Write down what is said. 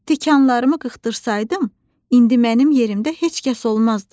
Tikanlarımı qırxdırsaydım, indi mənim yerimdə heç kəs olmazdı.